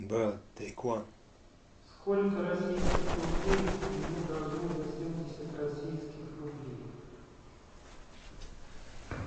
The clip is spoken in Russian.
сколько российских рублей мне должны за семьдесят российских рублей